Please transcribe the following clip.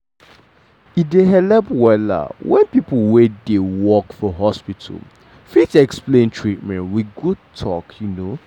e dey helep wella when people wey dey work for hospital fit explain treatment with good talk.